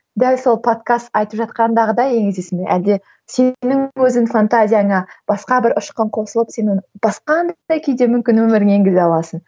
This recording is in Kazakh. дәл сол подкаст айтып жатқандағыдай енгізесің бе әлде сенің өзің фантазияңа басқа бір ұшқын қосылып сенің басқа мүмкін өміріңе енгізе аласың